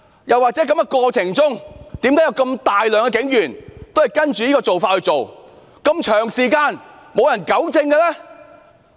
又為何有如此大量警員不按警例行事，而長時間竟沒有人糾正？